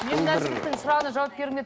мен мына жігіттің сұрағына жауап бергім келіп тұр